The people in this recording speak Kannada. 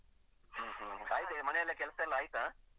ಹ್ಮ್ ಹ್ಮ್ ಆಯ್ತಾ ಮನೆಯಲ್ಲ ಕೆಲಸ ಎಲ್ಲಾ ಆಯ್ತಾ.